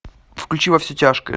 включи во все тяжкие